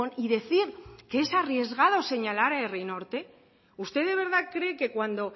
y decir que es arriesgado señalar a herri norte usted de verdad cree que cuando